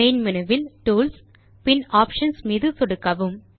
main menu இல் tools மற்றும் options மீது சொடுக்கவும்